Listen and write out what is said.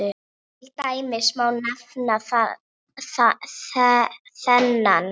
Til dæmis má nefna þennan